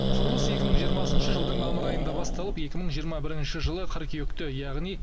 құрылыс екі мың жиырмасыншы жылдың мамыр айында басталып екі мың жиырма бірінші жылы қыркүйекте яғни